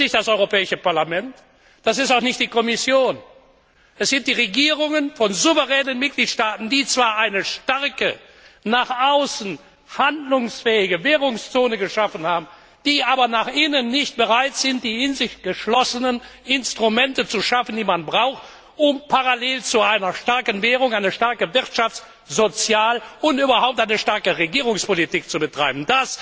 Es ist nicht das Europäische Parlament, es ist auch nicht die Kommission, es sind die Regierungen von souveränen Mitgliedstaaten, die zwar eine starke, nach außen handlungsfähige Währungszone geschaffen haben, die aber nach innen nicht bereit sind, die in sich geschlossenen Instrumente zu schaffen, die man braucht, um parallel zu einer starken Währung eine starke Wirtschafts und Sozialpolitik, überhaupt eine starke Regierungspolitik zu betreiben.